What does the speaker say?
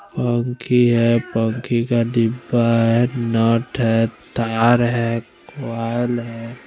फ़ोनकी है फ़ोनकी का डिब्बा है नट है तार है --